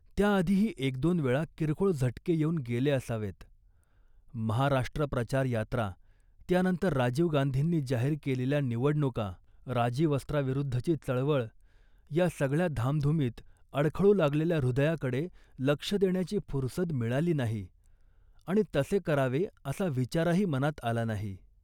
त्याआधीही एकदोन वेळा किरकोळ झटके येऊन गेले असावेत. महाराष्ट्र प्रचारयात्रा, त्यानंतर राजीव गांधींनी जाहीर केलेल्या निवडणुका, राजीवस्त्राविरुद्धची चळवळ या सगळ्या धामधुमीत अडखळू लागलेल्या हृदयाकडे लक्ष देण्याची फुरसद मिळाली नाही आणि तसे करावे असा विचारही मनात आला नाही